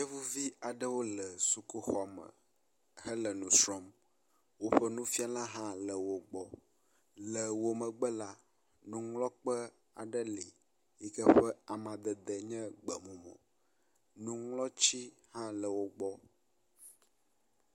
Yevuvi aɖewo le sukuxu me, woƒe nufiala hã le wo gbɔ. Wo megbe la, nuŋlɔkpe aɖe le yike ƒe amadede nye gbemumu, nuŋlɔti hã le wo gbɔ.